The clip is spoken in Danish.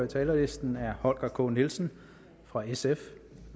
talerlisten er holger k nielsen fra sf